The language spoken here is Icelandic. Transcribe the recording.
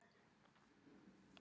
pálmar, fíkjutré og risafura.